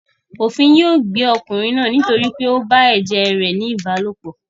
Òfin yóò gbé ọkùnrin náà nítorí pé ó bá ẹ̀jẹ̀ rẹ̀ ní ìbálòpọ̀.